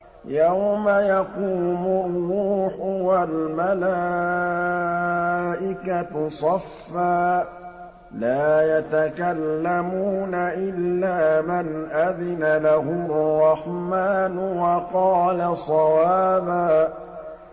يَوْمَ يَقُومُ الرُّوحُ وَالْمَلَائِكَةُ صَفًّا ۖ لَّا يَتَكَلَّمُونَ إِلَّا مَنْ أَذِنَ لَهُ الرَّحْمَٰنُ وَقَالَ صَوَابًا